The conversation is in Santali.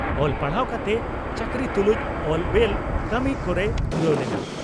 ᱚᱞ ᱯᱟᱲᱦᱟᱣ ᱠᱟᱛᱮ ᱪᱟᱹᱠᱨᱤ ᱛᱩᱞᱩᱡ ᱚᱞ ᱵᱮᱞ ᱠᱟᱹᱢᱤ ᱠᱚᱨᱮᱭ ᱫᱷᱩᱨᱟᱹᱣ ᱞᱮᱱᱟ ᱾